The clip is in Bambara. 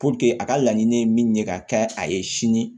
a ka laɲini ye min ye ka kɛ a ye sini